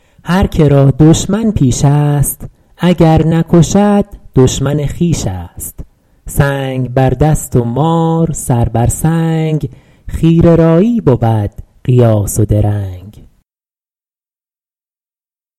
هر که را دشمن پیش است اگر نکشد دشمن خویش است سنگ بر دست و مار سر بر سنگ خیره رایی بود قیاس و درنگ